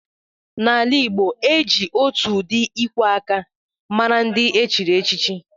Na ala igbo, e ji otù ụdị ikwè áká màrà ndị echiri échichi